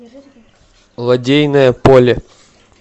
лодейное поле